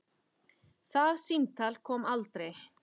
Það símtal kom aldrei.